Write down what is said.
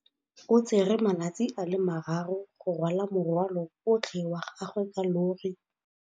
O tsere malatsi a le marraro go rwala morwalo otlhe wa gagwe ka llori.